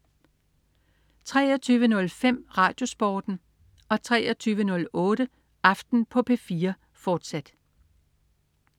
23.05 RadioSporten 23.08 Aften på P4, fortsat